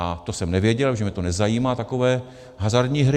A to jsem nevěděl, protože mě to nezajímá, takové hazardní hry.